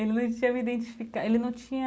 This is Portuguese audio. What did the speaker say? Ele não tinha me identificado, ele não tinha...